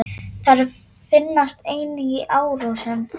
Þær finnast einnig í árósum.